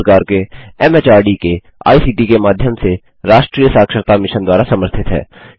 यह भारत सरकार के एमएचआरडी के आईसीटी के माध्यम से राष्ट्रीय साक्षरता मिशन द्वारा समर्थित है